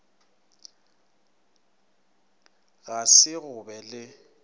ga se go be le